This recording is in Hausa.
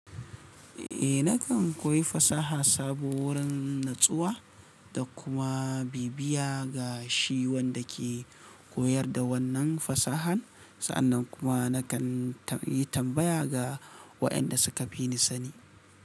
Eh nakan koyi fasaha sabo wurin nutsuwa da kuma bibiya ga shi wanda ke koyar da wannan fasahan. Sa'annan kuma nakan yi tambaya ga waƴanda suka fi ni sani.